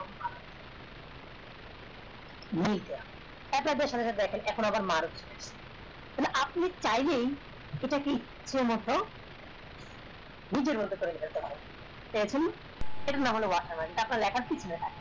আপনার সাথে সাথে দেখেন আপনি চাইলেই এটা কি মত নিজের এখন লেখার পিছনে থেকবে